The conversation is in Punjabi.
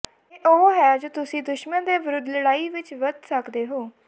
ਇਹ ਉਹ ਹੈ ਜੋ ਤੁਸੀਂ ਦੁਸ਼ਮਣ ਦੇ ਵਿਰੁੱਧ ਲੜਾਈ ਵਿੱਚ ਵਰਤ ਸਕਦੇ ਹੋ